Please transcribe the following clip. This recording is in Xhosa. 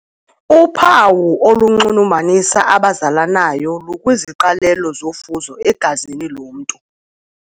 Uphawu olunxulumanisa abazalanayo lukwiziqalelo zofuzo egazini lomntu.